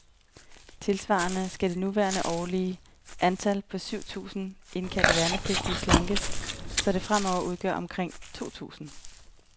Tilsvarende skal det nuværende årlige antal, på syv tusinde indkaldte værnepligtige, slankes, så det fremover udgør omkring to tusinde.